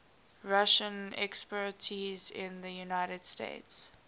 russian expatriates in the united states